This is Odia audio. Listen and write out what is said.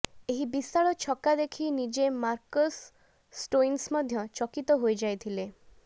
ଏହି ବିଶାଳ ଛକା ଦେଖି ନିଜେ ମାର୍କସ୍ ଷ୍ଟୋଇନ୍ସ ମଧ୍ୟ ଚକିତ ହୋଇଯାଇଥିଲେ